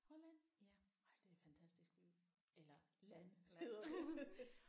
Holland? Ej det er fantastisk by eller land hedder det